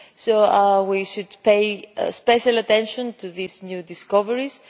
So we should pay special attention to these new discoveries.